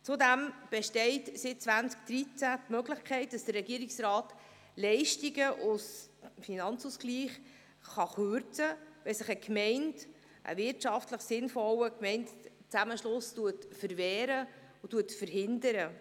Zudem besteht seit 2013 die Möglichkeit, dass der Regierungsrat Leistungen aus dem Finanzausgleich kürzen kann, wenn sich eine Gemeinde einem wirtschaftlich sinnvollen Gemeindezusammenschluss verwehrt und diesen verhindert.